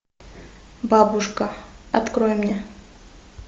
бабушка открой мне